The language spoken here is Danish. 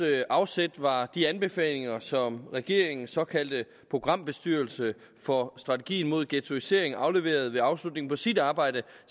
afsæt var de anbefalinger som regeringens såkaldte programbestyrelse for strategien mod ghettoisering afleverede ved afslutningen på sit arbejde